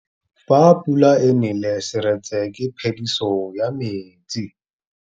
Fa pula e nelê serêtsê ke phêdisô ya metsi.